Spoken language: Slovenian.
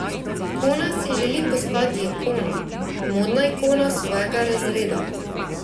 Kona si želi postati ikona, modna ikona svojega razreda.